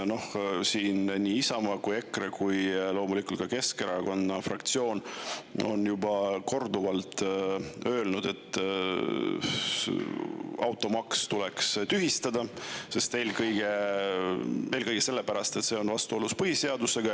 Noh, siin nii Isamaa, EKRE kui ka loomulikult Keskerakonna fraktsioon on juba korduvalt öelnud, et automaks tuleks tühistada, eelkõige selle pärast, et see on vastuolus põhiseadusega.